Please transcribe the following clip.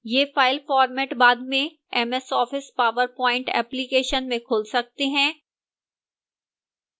ये file format बाद में ms office powerpoint application में खुल सकते हैं